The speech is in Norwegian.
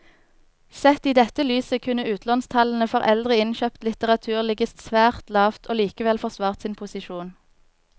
Sett i dette lyset kunne utlånstallene for eldre innkjøpt litteratur ligget svært lavt og likevel forsvart sin posisjon.